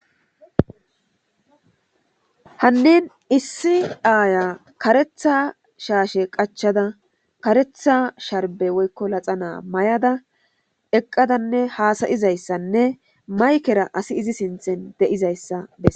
hannin issi aaya karetha shaashe qachada karetha sharbe woykko laxa naa may7ada eqqadanne haasayizayssanne maykera asi izi sinthen de7izayssa bes